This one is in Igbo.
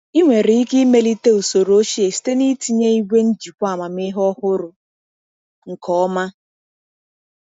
Ị nwere ike imelite usoro ochie site na ịtinye igwe njikwa amamihe ọhụrụ nke ọma.